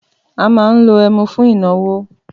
Àmà ńlò ẹmú fún ìnàwó.